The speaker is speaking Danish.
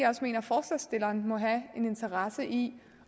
interesse i